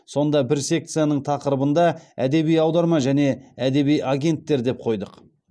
сонда бір секцияның тақырыбында әдеби аударма және әдеби агенттер деп қойдық